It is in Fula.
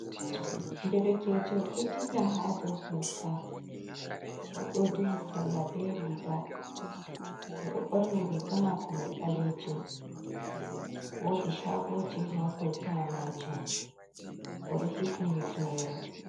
Ɗerkejo ɗo ɗilla ha ɗow kolta. Oɗo ɗuhi salla ɓe riga. Oɗo ɓorni riga mako mai ɓalejum. Woɗi sagoji ha kolta majum. Oɗo hifni hifnere.